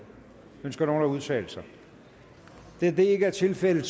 ønsker nogen at udtale sig da det ikke er tilfældet